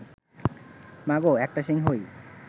মাগো, একটা সিংহ-ই